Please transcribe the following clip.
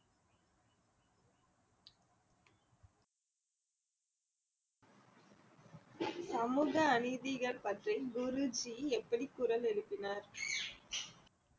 சமூக அநீதிகள் பற்றி குருஜி எப்படி குரல் எழுப்பினார்